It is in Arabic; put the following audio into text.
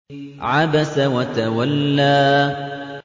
عَبَسَ وَتَوَلَّىٰ